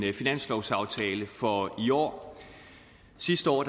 en finanslovsaftale for i år sidste år